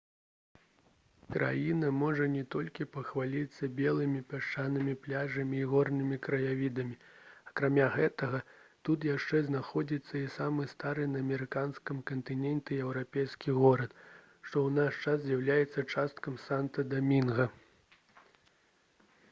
краіна можа не толькі пахваліцца белымі пясчанымі пляжамі і горнымі краявідамі акрамя гэтага тут яшчэ знаходзіцца і самы стары на амерыканскім кантыненце еўрапейскі горад што ў наш час з'яўляецца часткай санта-дамінга